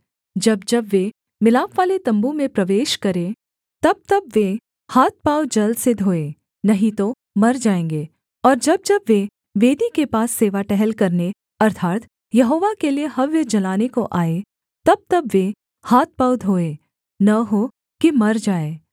जब जब वे मिलापवाले तम्बू में प्रवेश करें तबतब वे हाथ पाँव जल से धोएँ नहीं तो मर जाएँगे और जब जब वे वेदी के पास सेवा टहल करने अर्थात् यहोवा के लिये हव्य जलाने को आएँ तबतब वे हाथ पाँव धोएँ न हो कि मर जाएँ